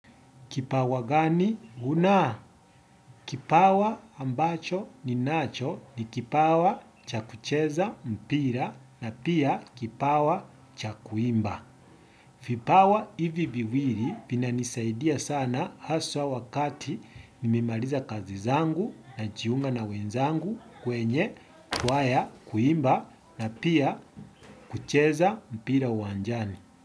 Kipawa gani? Huna. Kipawa ambacho ninacho ni kipawa cha kucheza mpira na pia kipawa cha kuimba. Vipawa hivi viwili vinanisaidia sana haswa wakati nimemaliza kazi zangu najiunga na wenzangu kwenye kwaya kuimba na pia kucheza mpira uwanjani.